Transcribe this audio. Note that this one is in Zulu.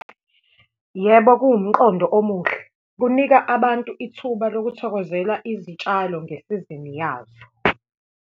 Yebo, kuwumqondo omuhle, kunika abantu ithuba lokuthokozela izitshalo ngesizini yazo.